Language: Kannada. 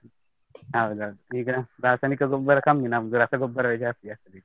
ಹೌದೌದು, ಈಗ ರಾಸಾಯನಿಕ ಗೊಬ್ಬರ ಕಮ್ಮಿ, ನಮ್ದು ರಸಗೊಬ್ಬರವೇ ಜಾಸ್ತಿ ಹಾಕುದ್ ಈಗ.